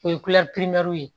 O ye ye